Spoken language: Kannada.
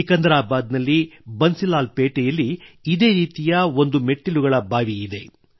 ಸಿಕಂದರಾಬಾದ್ ನಲ್ಲಿ ಬನ್ಸಿಲಾಲ್ ಪೇಟೆಯಲ್ಲಿ ಒಂದು ಇದೇ ರೀತಿಯ ಮೆಟ್ಟಿಲುಗಳ ಬಾವಿಯಿದೆ